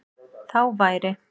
Þá væri